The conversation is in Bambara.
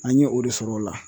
An ye o de sɔrɔ o la